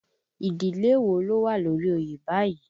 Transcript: Ìdílé wo ló wà lórí oyè báyìí?